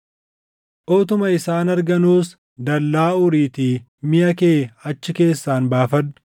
Utuma isaan arganuus dallaa uriitii miʼa kee achi keessaan baafadhu.